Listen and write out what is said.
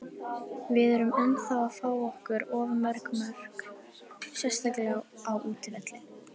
Við erum ennþá að fá á okkur of mörg mörk, sérstaklega á útivelli.